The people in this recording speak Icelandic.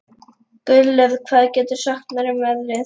Gunnlöð, hvað geturðu sagt mér um veðrið?